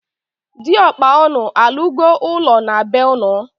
Di okpa unu alu go ulo na bee-unu?